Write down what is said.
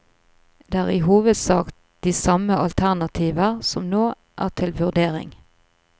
Det er i hovedsak de samme alternativer som nå er til vurdering.